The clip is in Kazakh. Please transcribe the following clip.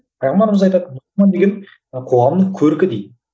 қоғамның көркі дейді